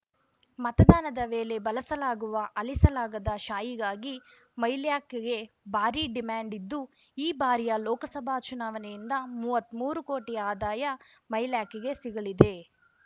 ಮತದಾನದ ವೇಳೆ ಬಳಸಲಾಗುವ ಅಳಿಸಲಾಗದ ಶಾಯಿಗಾಗಿ ಮೈಲ್ಯಾಕ್ ಗೆ ಬಾರಿ ಡಿಮ್ಯಾಂಡ್ ಇದ್ದು ಈ ಬಾರಿಯ ಲೋಕಸಭಾ ಚುನಾವಣೆಯಿಂದ ಮೂವತ್ಮೂರು ಕೋಟಿ ಆದಾಯ ಮೈಲ್ಯಾಕ್ ಗೆ ಸಿಗಲಿದೆ